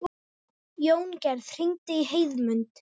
Jóngerð, hringdu í Heiðmund.